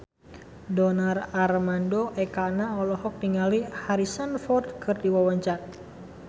Donar Armando Ekana olohok ningali Harrison Ford keur diwawancara